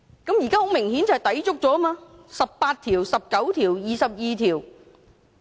"現在顯然地抵觸了第十八條、第十九條及第二十二條。